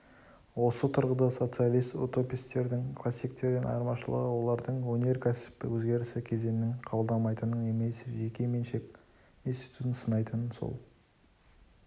осы тұрғыда социалист утопистердің классиктерден айырмашылығы олардың өнеркәсіп өзгерісі кезеңін қабылдамайтынын немесе жеке меншік институтын сынайтынын сол